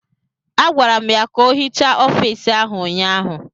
Agwara m ya ka ọ hichaa ọfiisi ahụ ụnyaahụ!